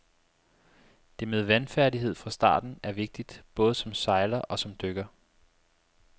Det med vandfærdighed fra starten er vigtigt, både som sejler og som dykker.